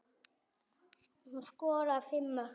Hún skoraði fimm mörk.